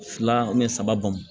Fila saba bɔn